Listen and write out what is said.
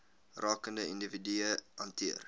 rakende individue hanteer